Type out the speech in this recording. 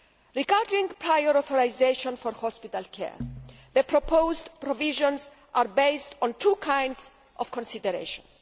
Regarding prior authorisation for hospital care, the proposed provisions are based on two kinds of consideration.